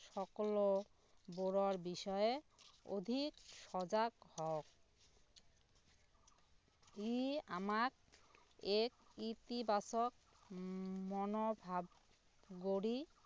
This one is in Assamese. সকলো বোৰৰ বিষয়ে অধিক সজাগ হওঁক ই আমাক এক ইতিবাচক মনৰ ভাব গঢ়ি